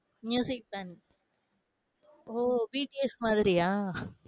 band ஓ BTS மாதிரியா?